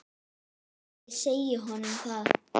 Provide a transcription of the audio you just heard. Ég segi honum það.